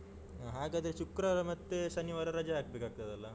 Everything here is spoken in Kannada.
ಹಾ ಹಾಗಾದ್ರೆ ಶುಕ್ರವಾರ ಮತ್ತೆ ಶನಿವಾರ ರಜೆ ಹಾಕ್ಬೇಕಾಗ್ತದಲ್ಲ?